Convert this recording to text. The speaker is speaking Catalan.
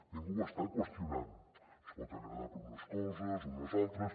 ningú ho està qüestionant ens pot agradar per unes coses o per unes altres